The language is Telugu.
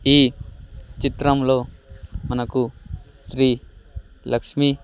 ఈ చిత్రంలో మనకు శ్రీ లక్ష్మీ .